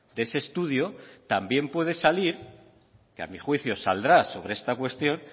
de ese estudio también puede salir que a mi juicio saldrá sobre esta cuestión